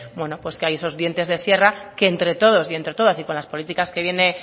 bueno pues que hay esos dientes de sierra que entre todos y entre todas y con las políticas que viene